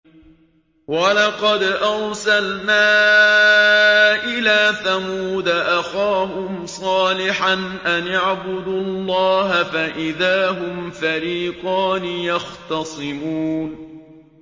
وَلَقَدْ أَرْسَلْنَا إِلَىٰ ثَمُودَ أَخَاهُمْ صَالِحًا أَنِ اعْبُدُوا اللَّهَ فَإِذَا هُمْ فَرِيقَانِ يَخْتَصِمُونَ